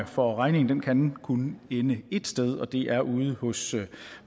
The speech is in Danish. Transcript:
for regningen kan kun ende et sted og det er ude hos